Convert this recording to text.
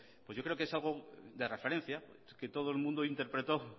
yo creo que es algo de referencia que todo el mundo interpretó